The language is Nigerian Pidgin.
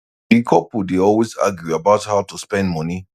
di couple dey always argue about how to spend money